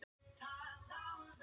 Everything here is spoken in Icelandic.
Páfi velur kardínála